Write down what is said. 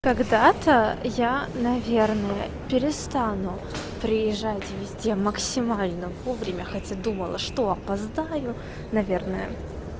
когда-то я наверное перестану приезжать везде максимально вовремя хотя думала что опоздаю наверное